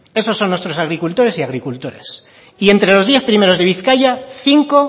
esos son nuestros agricultores y agricultoras y entre los diez primeros de bizkaia cinco